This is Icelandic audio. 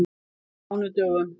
mánudögum